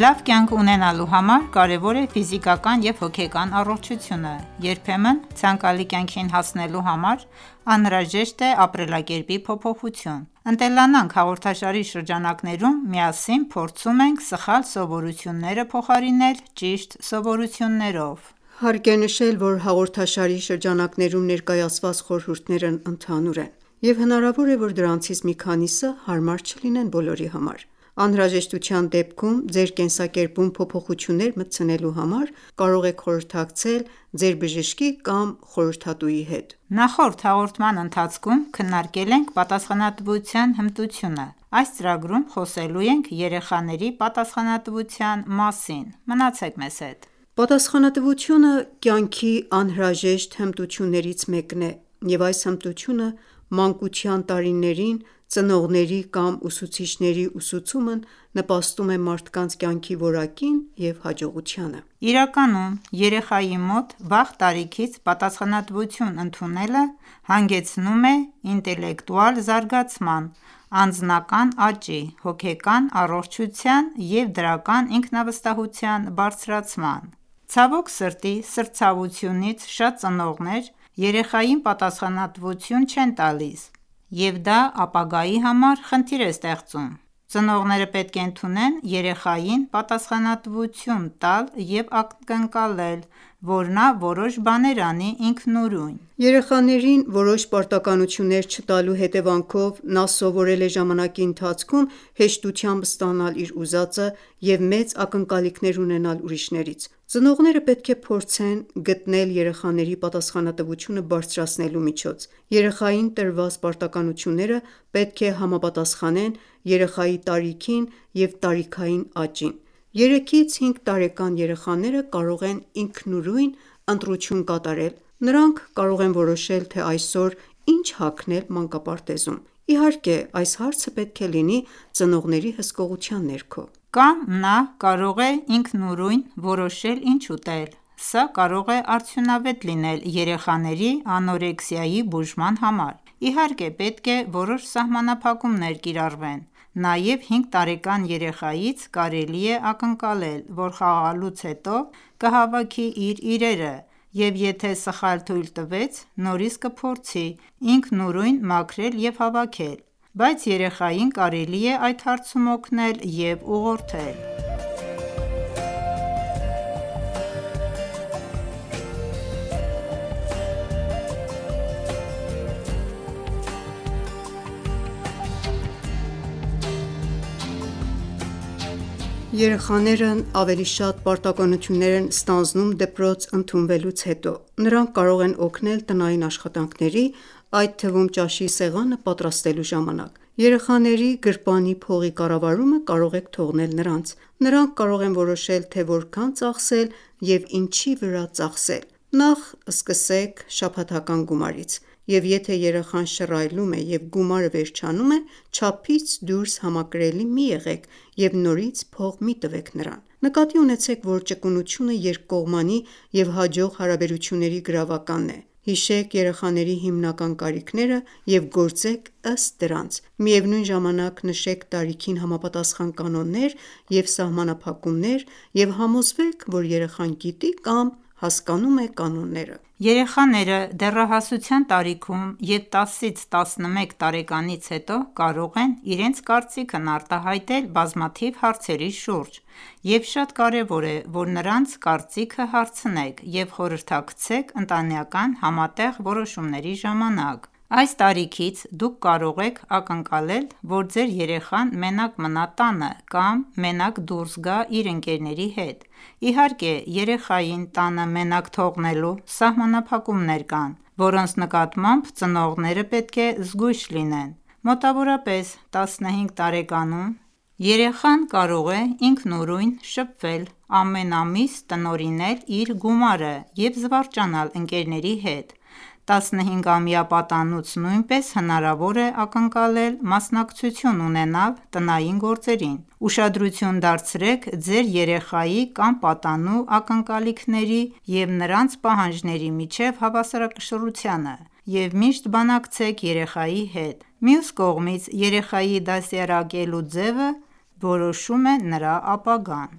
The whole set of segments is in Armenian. Լավ կյանք ունենալու համար կարևոր է ֆիզիկական և հոգեկան առողջությունը։ Երբեմն ցանկալի կյանքին հասնելու համար անհրաժեշտ է ապրելակերպի փոփոխություն։ «Ընտելանանք» հաղորդաշարի շրջանակներում միասին փորձում ենք սխալ սովորությունները փոխարինել ճիշտ սովորություններով։ Հարկ է նշել, որ հաղորդաշարի շրջանակներում ներկայացված խորհուրդներն ընդհանուր են, և հնարավոր է, որ դրանցից մի քանիսը հարմար չլինեն բոլորի համար: Անհրաժեշտության դեպքում ձեր կենսակերպում փոփոխություններ մտցնելու համար կարող եք խորհրդակցել ձեր բժշկի կամ խորհրդատուի հետ: Նախորդ հաղորդման ընթացքում քննարկել ենք պատասխանատվության հմտությունը։ Այս ծրագրում խոսելու ենք երեխաների պատասխանատվության մասին։ Մնացեք մեզ հետ։ Պատասխանատվությունը կյանքի անհրաժեշտ հմտություններից մեկն է, և այս հմտությունը մանկության տարիներին ծնողների կամ ուսուցիչների ուսուցումն նպաստում է մարդկանց կյանքի որակին և հաջողությանը: Իրականում, երեխայի մոտ վաղ տարիքից պատասխանատվություն ընդունելը հանգեցնում է ինտելեկտուալ զարգացման, անձնական աճի, հոգեկան առողջության և դրական ինքնավստահության բարձրացման: Ցավոք սրտի, սրտացավությունից շատ ծնողներ երեխային պատասխանատվություն չեն տալիս, և դա ապագայի համար խնդիրներ է ստեղծում։ Ծնողները պետք է ընդունեն երեխային պատասխանատվություն տալ և ակնկալել, որ նա որոշ բաներ անի ինքնուրույն: Երեխաներին որոշ պարտականություններ չտալու հետևանքով նա սովորել է ժամանակի ընթացքում հեշտությամբ ստանալ իր ուզածը և մեծ ակնկալիքներ ունենալ ուրիշներից: Ծնողները պետք է փորձեն գտնել երեխաների պատասխանատվությունը բարձրացնելու միջոց: Երեխային տրված պարտականությունները պետք է համապատասխանեն երեխայի տարիքին և տարիքային աճին: 3-ից 5 տարեկան երեխաները կարող են ինքնուրույն ընտրություն կատարել, նրանք կարող են որոշել, թե այսօր ինչ հագնել մանկապարտեզում: Իհարկե, այս հարցը պետք է լինի ծնողների հսկողության ներքո։ Կամ նա կարող է ինքնուրույն որոշել ինչ ուտել: Սա կարող է արդյունավետ լինել երեխաների անորեքսիայի բուժման համար: Իհարկե, պետք է որոշ սահմանափակումներ կիրառվեն։ Նաև 5 տարեկան երեխայից կարելի է ակնկալել, որ խաղալուց հետո կհավաքի իր իրերը, և եթե սխալ թույլ տվեց, նորից կփորձի ինքնուրույն մաքրել և հավաքել: Բայց երեխային կարելի է այդ հարցում օգնել և ուղղորդել։ Երեխաներն ավելի շատ պարտականություններ են ստանձնում դպրոց ընդունվելուց հետո: Նրանք կարող են օգնել տնային աշխատանքների, այդ թվում ճաշի սեղանը պատրաստելու ժամանակ:: Երեխաների գրպանի փողի կառավարումը կարող եք թողնել նրանց։ Նրանք կարող են որոշել, թե որքան ծախսել և ինչի վրա ծախսել: Նախ սկսեք շաբաթական գումարից, և եթե երեխան շռայլում է և գումարը վերջանում է, չափից դուրս համակրելի մի եղեք և նորից փող մի տվեք նրան: Նկատի ունեցեք, որ ճկունությունը երկկողմանի և հաջող հարաբերությունների գրավականն է: Հիշեք երեխաների հիմնական կարիքները և գործեք ըստ դրանց: Միևնույն ժամանակ նշեք տարիքին համապատասխան կանոններ և սահմանափակումներ և համոզվեք, որ երեխան գիտի կամ հասկանում է կանոնները: Երեխաները դեռահասության տարիքում և 10-11 տարեկանից հետո կարող են իրենց կարծիքն արտահայտել բազմաթիվ հարցերի շուրջ, և շատ կարևոր է, որ նրանց կարծիքը հարցնեք և խորհրդակցեք ընտանեկան համատեղ որոշումների ժամանակ։ Այս տարիքից դուք կարող եք ակնկալել, որ ձեր երեխան մենակ մնա տանը կամ մենակ դուրս գա իր ընկերների հետ: Իհարկե, երեխային տանը մենակ թողնելու սահմանափակումներ կան, որոնց նկատմամբ ծնողները պետք է զգույշ լինեն։ Մոտավորապես 15 տարեկանում երեխան կարող է ինքնուրույն շփվել, ամեն ամիս տնօրինել իր գումարը և զվարճանալ ընկերների հետ: 15-ամյա պատանուց նույնպես հնարավոր է ակնկալել մասնակցություն ունենալ տնային գործերին։ Ուշադրություն դարձրեք ձեր երեխայի կամ պատանու ակնկալիքների և նրանց պահանջների միջև հավասարակշռությանը և միշտ բանակցեք երեխայի հետ: Մյուս կողմից՝ երեխայի դաստիարակելու ձևը որոշում է նրա ապագան։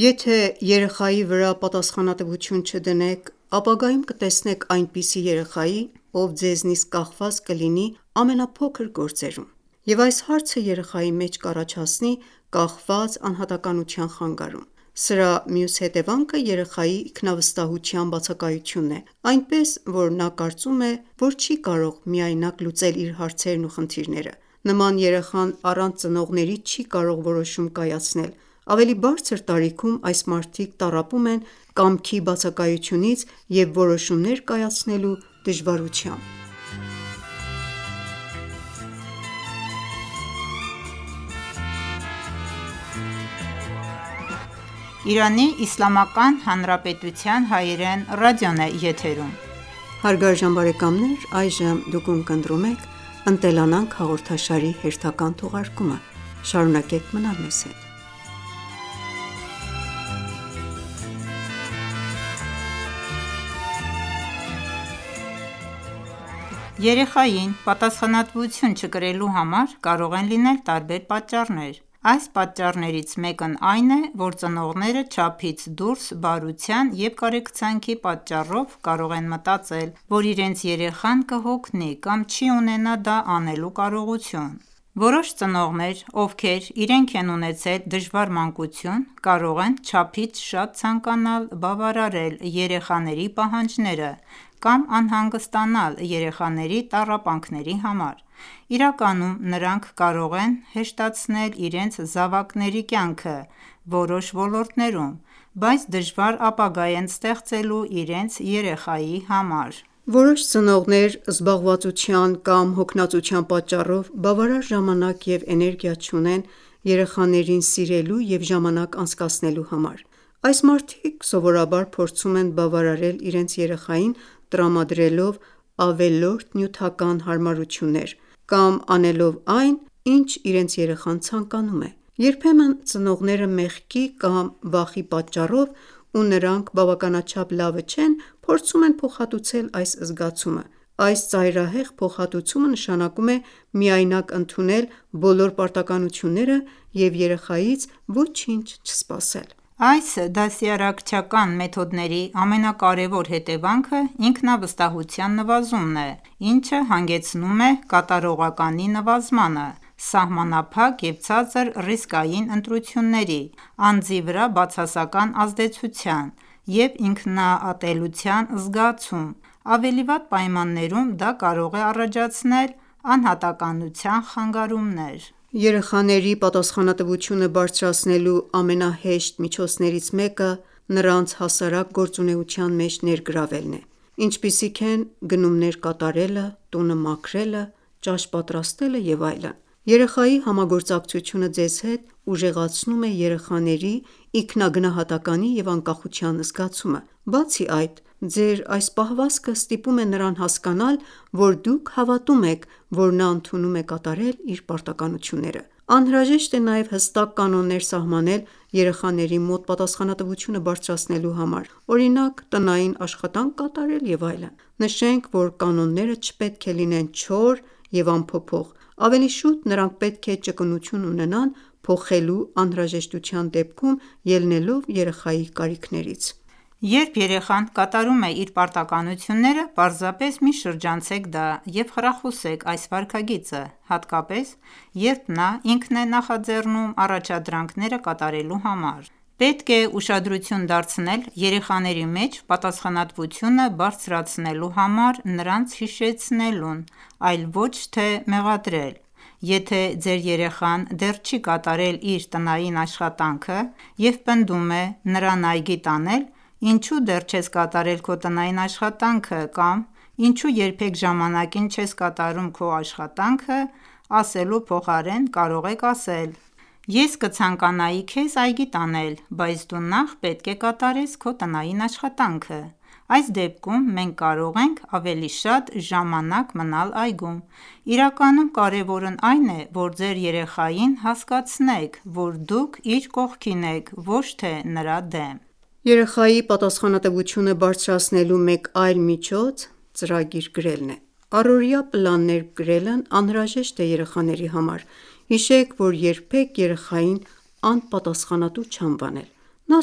Եթե ​​երեխայի վրա պատասխանատվություն չդնեք, ապագայում կտեսնեք այնպիսի երեխայի, ով ձեզնից կախված կլինի ամենափոքր գործերում, և այս հարցը երեխայի մեջ կառաջացնի կախված անհատականության խանգարում։ Սրա մյուս հետևանքը երեխայի ինքնավստահության բացակայությունն է, այնպես, որ նա կարծում է, որ չի կարող միայնակ լուծել իր հարցերն ու խնդիրները։ Նման երեխան առանց ծնողների չի կարող որոշում կայացնել: Ավելի բարձր տարիքում այս մարդիկ տառապում են կամքի բացակայություից և որոշումներ կայացնելու դժվարությամբ: Երեխային պատասխանատվություն չկրելու համար կարող են լինել տարբեր պատճառներ: Այս պատճառներից մեկն այն է, որ ծնողները չափից դուրս բարության և կարեկցանքի պատճառով կարող են մտածել, որ իրենց երեխան կհոգնի կամ չի ունենա դա անելու կարողություն: Որոշ ծնողներ, ովքեր իրենք են ունեցել դժվար մանկություն, կարող են չափից շատ ցանկանալ բավարարել երեխաների պահանջները կամ անհանգստանալ երեխաների տառապանքների համար:Իրականում նրանք կարող են հեշտացնել իրենց զավակների կյանքը որոշ ոլորտներում, բայց դժվար ապագա են ստեղծելու իրենց երեխայի համար: Որոշ ծնողներ զբաղվածության կամ հոգնածության պատճառով բավարար ժամանակ և էներգիա չունեն երեխաներին սիրելու և ժամանակ անցկացնելու համար: Այս մարդիկ սովորաբար փորձում են բավարարել իրենց երեխային՝ տրամադրելով ավելորդ նյութական հարմարություններ կամ անելով այն, ինչ իրենց երեխան ցանկանում է: Երբեմն ծնողները մեղքի կամ վախի պատճառով, որ նրանք բավականաչափ լավը չեն, փորձում են փոխհատուցել այս զգացումը: Այս ծայրահեղ փոխհատուցումը նշանակում է միայնակ ընդունել բոլոր պարտականությունները և երեխայից ոչինչ չսպասել։ Այս դաստիարակչական մեթոդների ամենակարևոր հետևանքը ինքնավստահության նվազումն է, ինչը հանգեցնում է կատարողականի նվազմանը, սահմանափակ և ցածր ռիսկային ընտրությունների, անձի վրա բացասական ազդեցության և ինքնատելության զգացման: Ավելի վատ պայմաններում դա կարող է առաջացնել անհատականության խանգարումներ: Երեխաների պատասխանատվությունը բարձրացնելու ամենահեշտ միջոցներից մեկը նրանց հասարակ գործունեության մեջ ներգրավելն է, ինչպիսիք են գնումներ կատարելը, տունը մաքրելը, ճաշ պատրաստելը և այլն: Երեխայի համագործակցությունը ձեզ հետ ուժեղացնում է երեխաների ինքնագնահատականի և անկախության զգացումը։ Բացի այդ, ձեր այս պահվածքը ստիպում է նրան հասկանալ, որ դուք հավատում եք, որ նա ընդունում է կատարել իր պարտականությունները: Անհրաժեշտ է նաև հստակ կանոններ սահմանել երեխաների մոտ պատասխանատվությունը բարձրացնելու համար, օրինակ՝ տնային աշխատանք կատարել, և այլն։ Նշենք, որ կանոնները չպետք է լինեն չոր և անփոփոխ: Ավելի շուտ, նրանք պետք է ճկունություն ունենան փոխելու անհրաժեշտության դեպքում՝ ելնելով երեխայի կարիքներից: Երբ երեխան կատարում է իր պարտականությունները, պարզապես մի շրջանցեք դա և խրախուսեք այս վարքագիծը: Հատկապես, երբ նա ինքն է նախաձեռնում առաջադրանքները կատարելու համար։ Պետք է ուշադրություն դարձնել երեխաների մեջ պատասխանատվությունը բարձրացնելու համար նրանց հիշեցնելուն, այլ ոչ թե մեղադրել: Եթե ​​ձեր երեխան դեռ չի կատարել իր տնային աշխատանքը և պնդում է նրան այգի տանել, «Ինչու դեռ չես կատարել քո տնային աշխատանքը» կամ «Ինչու երբեք ժամանակին չես կատարում քո աշխատանքը» ասելու փոխարեն կարող եք ասել. «Ես կցանկանայի քեզ այգի տանել, բայց դու նախ պետք է կատարեց քո տնային աշխատանքը, այս դեպքում մենք կարող ենք ավելի շատ ժամանակ մնալ այգում»։ Իրականում կարևորն այն է, որ ձեր երեխային հասկացնեք, որ դուք իր կողքին եք, ոչ թե նրա դեմ: Երեխայի պատասխանատվությունը բարձրացնելու մեկ այլ միջոց ծրագիր գրելն է:Առօրյա պլաններ գրելն անհրաժեշտ է երեխաների համար։ Հիշեք, որ երբեք երեխային անպատասխանատու չանվանել: Նա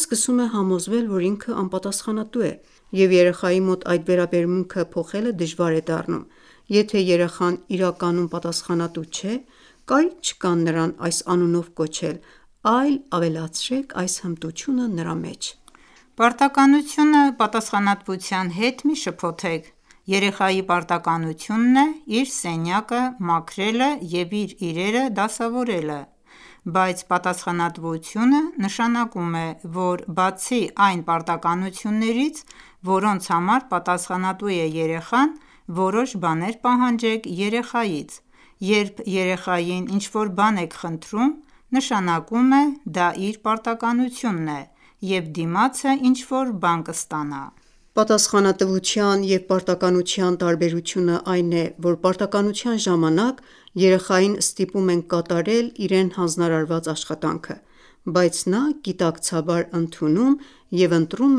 սկսում է համոզվել, որ ինքը անպատասխանատու է, և երեխայի մոտ այդ վերաբերմունքը փոխելը դժվար է դառնում։ Եթե ​​երեխան իրականում պատասխանատու չէ, կարիք չկա նրան այս անունով կոչել, այլ ավելացրեք այս հմտությունը նրա մեջ: Պարտականությունը պատասխանատվության հետ մի շփոթեք: Երեխայի պարտականությունն է իր սենյակը մաքրելը և իրերը դասավորելը։ Բայց պատասխանատվությունը նշանակում է, որ բացի այն պարտականություններից, որոնց համար պատասխանատու է երեխան, որոշ բաներ պահանջեք երեխայից: Երբ երեխային ինչ-որ բան եք խնդրում, նշանակում է՝ դա իր պարտականությունն է, և դիմացը ինչ-որ բան կստանա։ Պատասխանատվության և պարտականության տարբերությունն այն է, որ պարտականության ժամանակ երեխային ստիպում են կատարել իրեն հանձնարարված աշխատանքը։ Բայց նա գիտակցաբար ընդունում և ընտրում